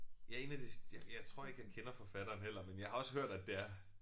Ja 1 af de ja jeg tror ikke jeg kender forfatteren heller men jeg har også hørt at det er